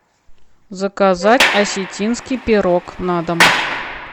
заказать осетинский пирог на дом